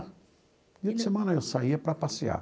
No fim de semana, eu saía para passear.